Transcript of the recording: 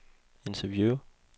interview